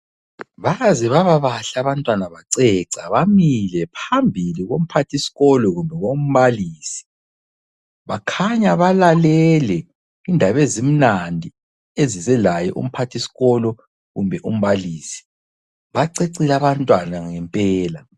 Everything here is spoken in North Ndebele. Baze babahle abantwana baceca bamile phambili komphathisikolo kumbe kombalisi, bakhanya balalele indaba ezimnandi ezizelaye umphathisikolo kumbe umbalisi. Bacecile abantwana ngempela.